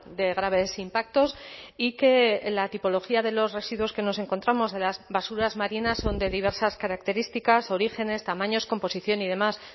de graves impactos y que la tipología de los residuos que nos encontramos de las basuras marinas son de diversas características orígenes tamaños composición y demás